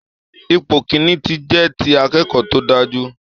Ipò kìn-ín-ní jẹ́ ti akẹ́kọ̀ọ́ tó dáa jù